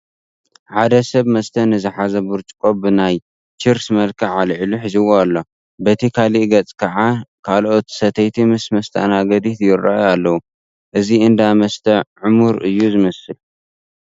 ሓደ ሰብ መስተ ንዝሓዘ ብርጭቆ ብናይ ችርስ መልክዕ ኣልዒሉ ሒዝዎ ኣሎ፡፡ በቲ ካልእ ገፅ ከዓ ካልኦት ሰተይቲ ምስ መስተኣናገዲት ይርአዩ ኣለዉ፡፡ እዚ እንዳ መስተ ዕሙር እዩ ዝመስል፡፡